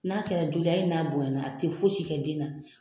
N'a kɛra joli ye hali n'a bonya na a tɛ foyi si kɛ den na.